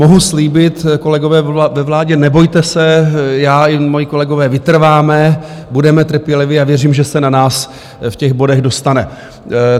Mohu slíbit, kolegové ve vládě, nebojte se, já i moji kolegové vytrváme, budeme trpěliví a věřím, že se na nás v těch bodech dostane.